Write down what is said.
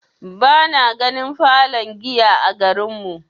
Bana ganin falon giya a garin mu.